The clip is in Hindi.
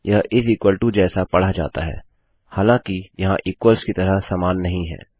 यह इस इक्वल टो जैसा पढ़ा जाता है हालाँकि यह इक्वल्स की तरह समान नहीं है